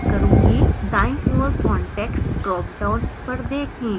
दायीं ओर context dropdown पर देखें